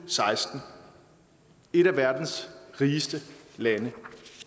seksten et af verdens rigeste lande